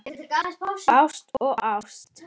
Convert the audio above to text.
Ást og ást.